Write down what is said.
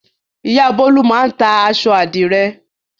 Ìyá Bólú máa ń ta aṣọ àdìrẹ́.